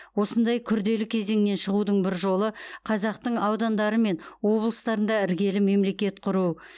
осындай күрделі кезеңнен шығудың бір жолы қазақтың аудандары мен облыстарында іргелі мемлекет құру